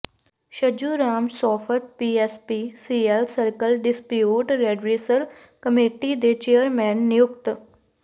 Chhajju Ram Sofat P S P C L circle dispute redressal committee ਦੇ chairman ਨਿਯੁਕਤ